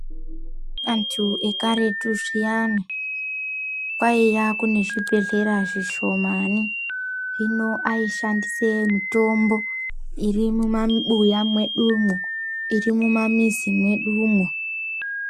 Andu ekaretu zviyani kwaiye kune zvibhedhlera zvishomani hino ayishandisa mitombo irimumabuya mwedumwo iri mumamizi mwedumwo.